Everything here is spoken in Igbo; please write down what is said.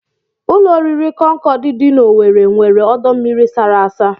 Ụlọoriri Concorde dị n'Owere nwere ọdọmmiri sara asa